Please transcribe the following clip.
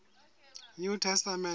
new testament canon